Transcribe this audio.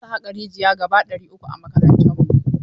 Za su haƙa rijiya gaba ɗari uku a makarantarmu.